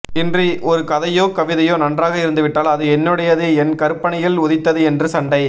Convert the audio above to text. இன்று ஒரு கதையோ கவிதையோ நன்றாக இருந்துவிட்டால் அது என்னுடையது என் கற்பனையில் உதித்தது என்று சண்டை